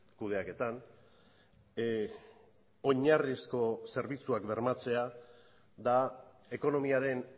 kudeaketan oinarrizko zerbitzuak bermatzea da ekonomiaren